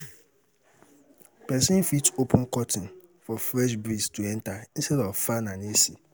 Person fit open curtain for fresh breeze to enter instead of fan and AC